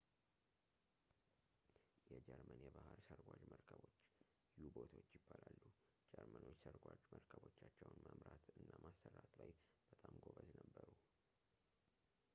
የጀርመን የባህር ስርጓጅ መርከቦች ዩ-ቦቶች ይባላሉ ጀርመኖች ሰርጓጅ መረከቦቻቸውን መምራት እና ማሰራት ላይ በጣም ጎበዝ ነበሩ